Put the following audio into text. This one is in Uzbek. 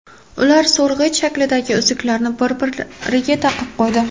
Ular so‘rg‘ich shaklidagi uzuklarni bir-biriga taqib qo‘ydi.